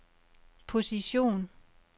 position